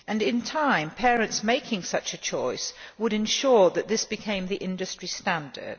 In time, parents making such a choice would ensure that this became the industry standard.